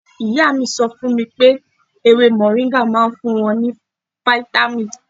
Ìyá mi sọ fún mi pé ewé mọ̀ríńgà máa ń fún wọn ní fítámìn.